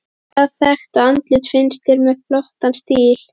Hvaða þekkta andlit finnst þér með flottan stíl?